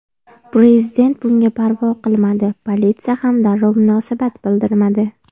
Prezident bunga parvo qilmadi, politsiya ham darrov munosabat bildirmadi.